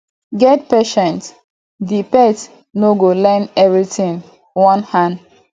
get patience di pet no go learn everything one hand